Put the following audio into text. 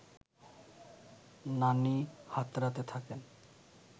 নানি হাতড়াতে থাকেন